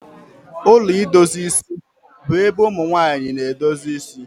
Ụlọ idozi isi bu ébé ụmụnwanyị na-edozi ịsị